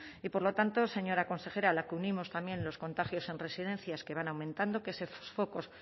y por lo tanto señora consejera a la que unimos también los contagios en residencias que van aumentando que esos focos